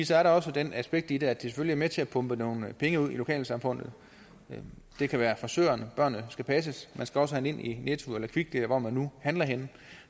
så er der også det aspekt i det at det selvfølgelig er med til at pumpe nogle penge ud i lokalsamfundet det kan være frisørerne børnene skal passes man skal også handle ind i netto eller kvickly eller hvor man nu handler henne